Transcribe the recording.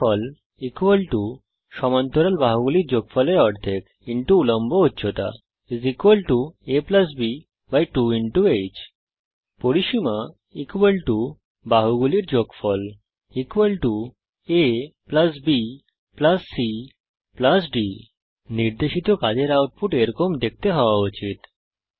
ক্ষেত্রফলের সূত্র সমান্তরান বাহুগুলির যোগফলের অর্ধেক উল্লম্ব উচ্চতা aবি2 h পরিসীমার সূত্র বাহুগুলির যোগফল abcডি নির্দেশিত কাজের আউটপুট এরকম দেখতে হওয়া উচিত